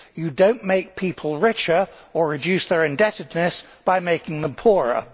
You do not make people richer or reduce their indebtedness by making them poorer.